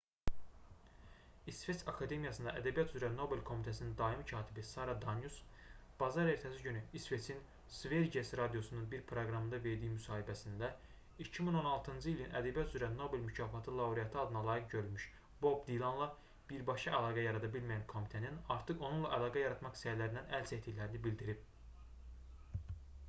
i̇sveç akademiyasında ədəbiyyat üzrə nobel komitəsinin daimi katibi sara danius bazar ertəsi günü i̇sveçin svergies radiosunun bir proqramında verdiyi müsahibəsində 2016-cı ilin ədəbiyyat üzrə nobel mükafatı laureatı adına layiq görülmüş bob dilanla birbaşa əlaqə yarada bilməyən komitənin artıq onunla əlaqə yaratmaq səylərindən əl çəkdiklərini bildirib